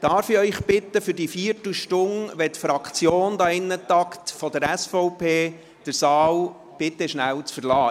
Darf ich Sie bitten, während der Viertelstunde, in der die SVP-Fraktion hier im Saal tagt, den Saal kurz zu verlassen?